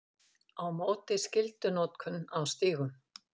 Á móti skyldunotkun á stígum